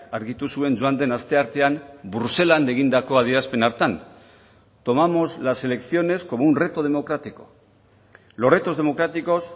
argitu zuen joan den asteartean bruselan egindako adierazpen hartan tomamos las elecciones como un reto democrático los retos democráticos